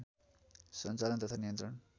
सञ्चालन तथा नियन्त्रण